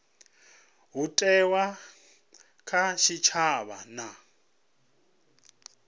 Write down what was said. ho thewaho kha tshitshavha na